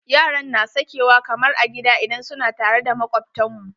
Yaran na sakewa kamar a gida idan suna tare da makwabtan mu.